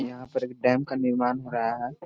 यहाँ पर एक डैम का निर्माण हो रहा है।